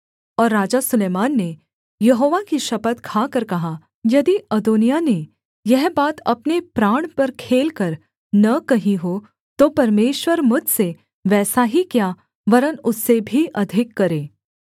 और राजा सुलैमान ने यहोवा की शपथ खाकर कहा यदि अदोनिय्याह ने यह बात अपने प्राण पर खेलकर न कही हो तो परमेश्वर मुझसे वैसा ही क्या वरन् उससे भी अधिक करे